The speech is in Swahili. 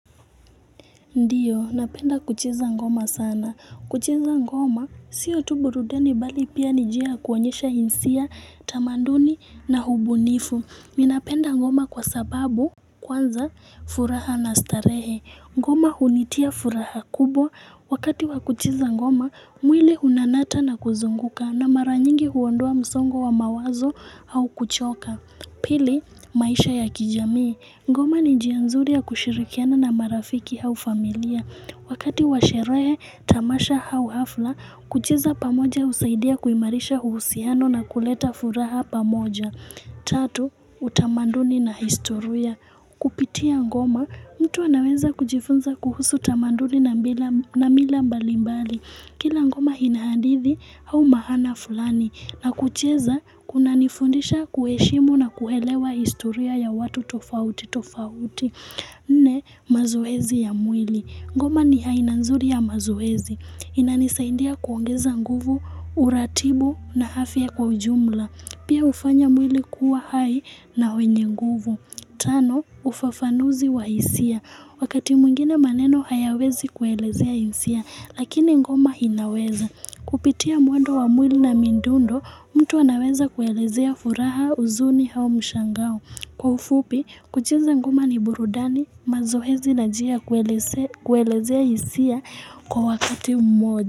Ndiyo, napenda kuchiza ngoma sana. Kucheza ngoma, siyo tu burudeni bali pia nijia kuonyesha insia, tamanduni na hubunifu. Mi napenda ngoma kwa sababu kwanza furaha na starehe. Ngoma hunitia furaha kubwa. Wakati wa kucheza ngoma, mwili unanata na kuzunguka na maranyingi huwondoa msongo wa mawazo au kuchoka. Pili, maisha ya kijamii. Ngoma njia nzuri ya kushirikiana na marafiki hau familia. Wakati washere tamasha hau hafla, kucheza pamoja usaidia kuimarisha uhusiano na kuleta furaha pamoja. Tatu, utamanduni na historia. Kupitia ngoma, mtu anaweza kujifunza kuhusu utamanduni na mila mbalimbali. Kila ngoma ina hadithi au mahana fulani na kucheza kuna nifundisha kueshimu na kuhelewa historia ya watu tofauti tofauti. Nne, mazoezi ya mwili. Ngoma ni haina nzuri ya mazoezi. Inanisaindia kuongeza nguvu, uratibu na hafi ya kwa ujumla. Pia ufanya mwili kuwa hai na wenye nguvu. Tano, ufafanuzi wa isia. Wakati muingine maneno hayawezi kuelezea insia, lakini ngoma inaweza. Kupitia mwendo wa mwili na midundo, mtu wanaweza kuelezea furaha uzuni hao mshangao. Kwa ufupi, kucheiza ngoma ni burudani mazoezi na njia kuelezea isia kwa wakati mmoja.